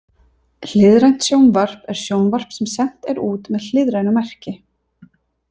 Hliðrænt sjónvarp er sjónvarp sem sent er út með hliðrænu merki.